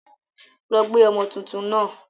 Lọ gbé ọmọ tuntun náà!